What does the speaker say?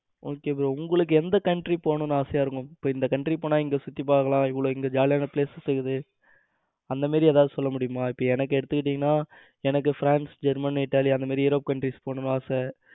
Okay bro உங்களுக்கு எந்த country போனும்னு ஆசையா இருக்கு இப்ப இந்த country போனா எங்க சுத்தி பாக்கலாம் இவ்ளோ இங்க jolly யான places இருக்குது. அந்த மாதிரி ஏதாவது சொல்ல முடியுமா இப்ப எனக்கு எடுத்துக்கிட்டிங்கனா எனக்கு france germany ltaly அந்த மாதிரி europe countries போகணும்னு ஆசை